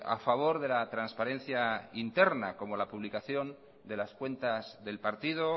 a favor de la transparencia interna como la publicación de las cuentas del partido o